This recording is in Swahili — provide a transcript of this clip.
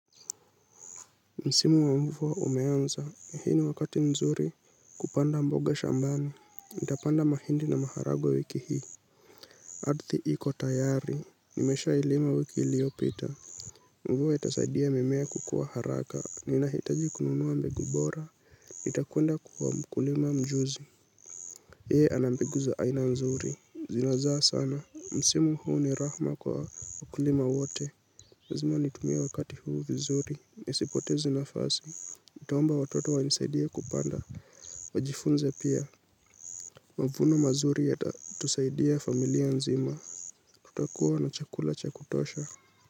Msimu wa mvua umeanza, hii ni wakati nzuri kupanda mboga shambani, nitapanda mahindi na maharagwe wiki hii. Ardhi iko tayari, nimeshailima wiki iliyopita. Mvua itasaidia mimea kukua haraka, ninahitaji kununua mbegu bora, nitakwenda kwa mkulima mjuzi yeye ana mbegu za aina nzuri, zinazaa sana, msimu huu ni rahma kwa mkulima wote. Lazima nitumie wakati huu vizuri, nisipotezi nafasi, nitaomba watoto wanisaidia kupanda, wajifunze pia. Mavuno mazuri yatatusaidia familia nzima, tutakuwa na chakula cha kutosha.